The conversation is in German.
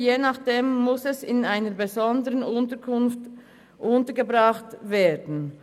Je nachdem muss es in einer besonderen Unterkunft untergebracht werden.